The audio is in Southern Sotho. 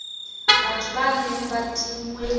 batho ba neng ba tinngwe